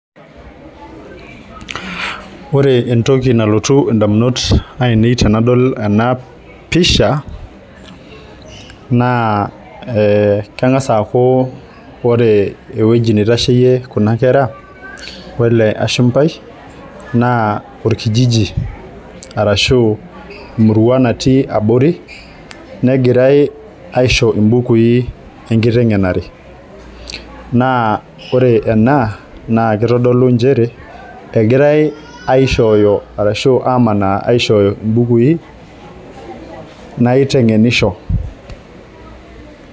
Ore entoki nalotu indamunot ainei tenadol enapisha naa kengas aaku ore ewueji nitasheyie kuna kera wele ashumbai naa orkijiji ashu emurua natii abori , negirae aisho imbukui enkitengenare naa ore ena naa kitodolu nchere egirae aishooyo ashu amanaa aishoyo imbukui naitengenisho.